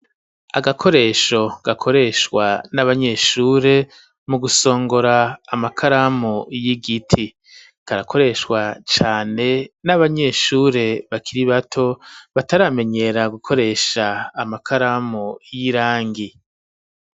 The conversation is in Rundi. Agakoresho, gakoreshwa n'abanyeshure, mu gusongora, amakaramu y'igiti; karakoreshwa cane, n'abanyeshure, bakiri bato, bataramenyera gukoresha, amakaramu y'irangi.